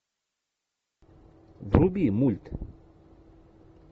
вруби мульт